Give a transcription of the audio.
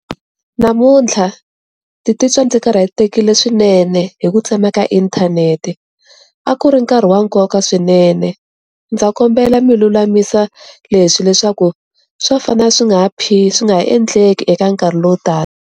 Namuntlha ni ti titwa ndzi karhatekile swinene hi ku tsema ka inthanete a ku ri nkarhi wa nkoka swinene ndza kombela mi lulamisa leswi leswaku swa fana swi nga ha swi nga ha endleki eka nkarhi lowu taka.